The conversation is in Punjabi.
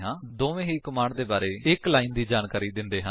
ਦੋਨਾਂ ਹੀ ਕਮਾਂਡ ਦੇ ਬਾਰੇ ਵਿੱਚ ਇੱਕ ਲਾਇਨ ਦੀ ਜਾਣਕਾਰੀ ਦਿੰਦੇ ਹਨ